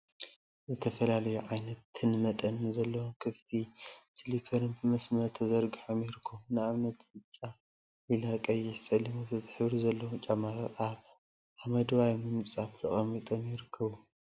ዝተፈላለዩ ዓይነትነ መጠንን ዘለዎም ክፍቲን ስሊፐርን ብመሰመር ተዘርጊሖም ይርከቡ፡፡ ንአብነት ብጫ፣ ሊላ፣ ቀይሕን ፀሊምን ወዘተ ሕብሪ ዘለዎም ጫማታት አብ ሓመደዋይ ምንፃፍ ተቀሚጦም ይርከቡዎም፡፡